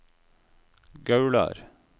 Gaular